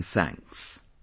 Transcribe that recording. Many many thanks